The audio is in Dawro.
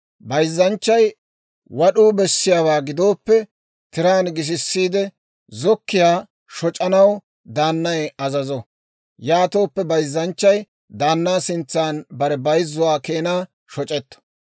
Bayzzanchchay wad'uu bessiyaawaa gidooppe, tiraan gisisiide zokkiyaa shoc'anaw daannay azazo; yaatooppe bayzzanchchay daannaa sintsan bare bayzzuwaa keenaa shoc'etto.